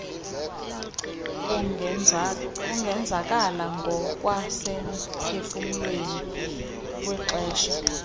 ungenzakala ngokwasemphefumlweni kwixesha